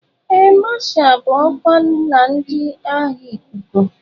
Áà Masha bụ ọkwa na ndị agha ikuku.